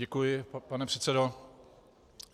Děkuji, pane předsedo.